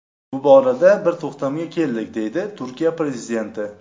Bu borada bir to‘xtamga keldik”, deydi Turkiya prezidenti.